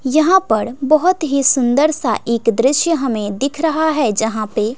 यहां पर बहोत ही सुंदर सा एक दृश्य हमें दिख रहा है जहां पे--